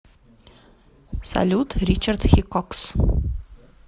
салют ричард хикокс